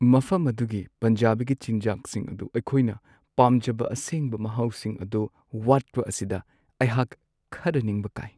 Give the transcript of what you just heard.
ꯃꯐꯝ ꯑꯗꯨꯒꯤ ꯄꯟꯖꯥꯕꯤꯒꯤ ꯆꯤꯟꯖꯥꯛꯁꯤꯡ ꯑꯗꯨ ꯑꯩꯈꯣꯏꯅ ꯄꯥꯝꯖꯕ ꯑꯁꯦꯡꯕ ꯃꯍꯥꯎꯁꯤꯡ ꯑꯗꯨ ꯋꯥꯠꯄ ꯑꯁꯤꯗ ꯑꯩꯍꯥꯛ ꯈꯔ ꯅꯤꯡꯕ ꯀꯥꯏ ꯫